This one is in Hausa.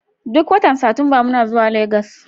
Duk watan Satumba muna zuwa Legas.